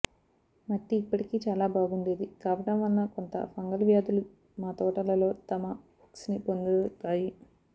మట్టి ఇప్పటికీ చాలా బాగుండేది కావటం వలన కొంత ఫంగల్ వ్యాధులు మా తోటలలో తమ హుక్స్ని పొందుతాయి